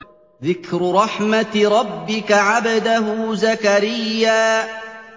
ذِكْرُ رَحْمَتِ رَبِّكَ عَبْدَهُ زَكَرِيَّا